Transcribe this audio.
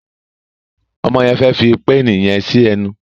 Ọmọ yen fè fí pééni yen sí enu.